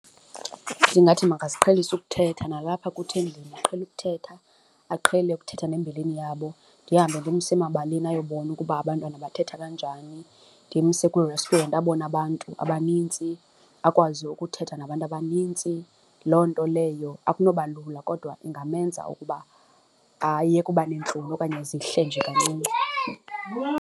Ndingathi makaziqhelise ukuthetha nalapha kuthi endlini, aqhele ukuthetha, aqhele ukuthetha nembilini yabo, ndihambe ndimse emabaleni ayobona ukuba abantwana bathetha kanjani, ndimse kwii-restaurant abone abantu abanintsi, akwazi ukuthetha nabantu abanintsi. Loo nto leyo akunoba lula kodwa ingamenza ukuba ayeke uba neentloni okanye zihle nje kancinci.